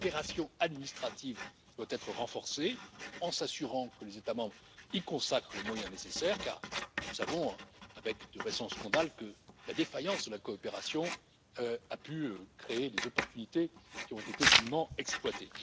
La coopération administrative doit être renforcée, en s'assurant que les États membres y consacrent les moyens nécessaires car, nous le constatons avec le tout récent scandale, la défaillance de la coopération a pu créer des opportunités qui ont été dûment exploitées.